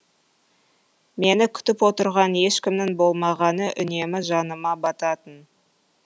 мені күтіп отырған ешкімнің болмағаны үнемі жаныма бататын